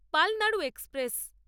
Palnadu express